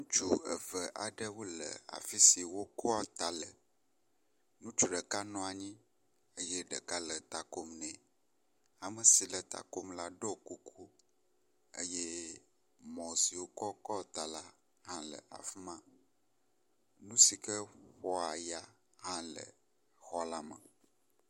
Ŋutsu eve aɖewo le afisi wokoa ta le, ŋutsu ɖeka nɔ anyi eye ɖeka le takom nɛ. Amesi takom la ɖiɔ kuku eye mɔ si wokɔ koa ta la le afima. Nu sike ƒoa ya hã le xɔlame.